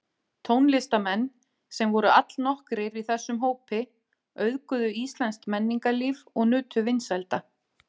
Tónlistarmenn, sem voru allnokkrir í þessum hópi, auðguðu íslenskt menningarlíf og nutu vinsælda.